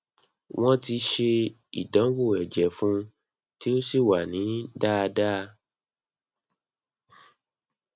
wọn ti ṣe ìdánwò ẹjẹ fún un tí ó sì wá ní dáadáa